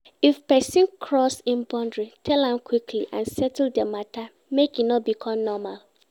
If person cross in boundary tell am quickly and settle di matter make e no become normal